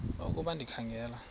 ukuba ndikha ngela